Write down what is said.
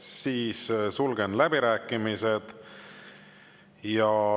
Siis sulgen läbirääkimised.